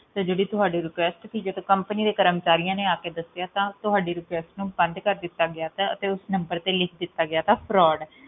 ਤੇ ਜਿਹੜੀ ਤੁਹਾਡੀ request ਸੀ ਜਦ company ਦੇ ਕਰਮਚਾਰੀਆਂ ਨੇ ਆ ਕੇ ਦੱਸਿਆ ਤਾਂ ਤੁਹਾਡੀ request ਨੂੰ ਬੰਦ ਕਰ ਦਿੱਤਾ ਗਯਾ ਤਾ ਅਤੇ ਉਸ number ਤੇ ਲਿਖ ਦਿੱਤਾ ਗਿਆ ਤਾ fraud